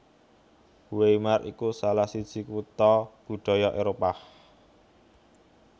Weimar iku salah siji kutha budaya Éropah